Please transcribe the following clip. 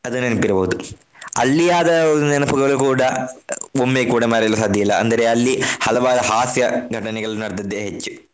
ಅದು ನೆನಪಿರಬಹುದು ಅಲ್ಲಿ ಆದ ನೆನಪುಗಳು ಕೂಡ ಒಮ್ಮೆ ಕೂಡ ಮರೆಯಲು ಸಾಧ್ಯವಿಲ್ಲ. ಅಂದರೆ ಅಲ್ಲಿ ಹಲವಾರು ಹಾಸ್ಯ ಘಟನೆಗಳು ನಡೆದಿದ್ದೇ ಹೆಚ್ಚು.